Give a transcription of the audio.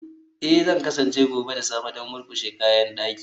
Ee, Zan kasance gobe da safe don murƙushe kayan daki